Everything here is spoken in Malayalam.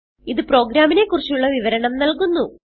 ഇത് പ്രോഗ്രാമിനെ കുറിച്ചുള്ള വിവരണം നല്കുന്നു